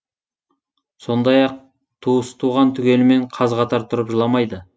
сондай ақ туыс туған түгелімен қаз қатар тұрып жыламайды